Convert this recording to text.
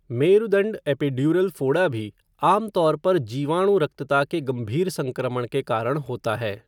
मेरुदंड epidural फोड़ा भी आमतौर पर जीवाणुरक्तता के गंभीर संक्रमण के कारण होता है।